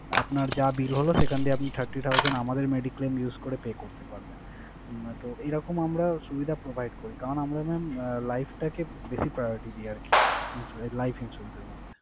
আপনার যা bill হলো সেখান থেকে আপনি thirty thousand আমাদের mediclaim use করে pay করতে পারবেন। আহ তো এইরকম আমরা সুবিধা provide করি। কারণ আমরা mam life টাকে বেশি priority দিয়ে রাখি insurance life insurance এর মধ্যে।